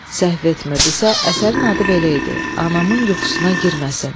Səhv etmirdisə, əsərin adı belə idi: Anamın yuxusuna girməsin.